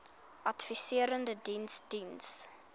adviserende diens diens